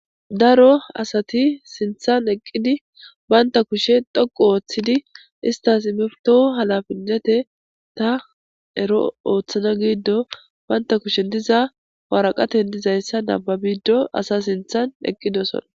Daro asati sinththan eqqidi banta kushe dhoqqu ooththidi izetas immetida halafetetha ero oothana gizaysan be kushen diza waraqaten dizaysa nababishe asa sinththan eqqidosona.